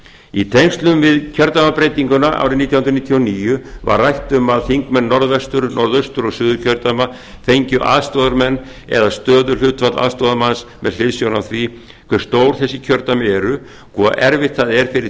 í tengslum við kjördæmabreytinguna árið nítján hundruð níutíu og níu var rætt um að þingmenn norðvestur norðaustur og suðurkjördæma fengju aðstoðarmenn eða stöðuhlutfall aðstoðarmanns með hliðsjón af því hve stór þessi kjördæmi eru og hve erfitt það er fyrir